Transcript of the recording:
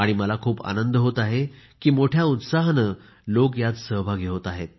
आणि मला खूप आनंद होत आहे की मोठ्या उत्साहाने लोकं यात सहभागी होत आहेत